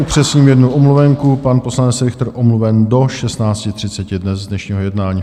Upřesním jednu omluvenku - pan poslanec Richter omluven do 16.30 dnes z dnešního jednání.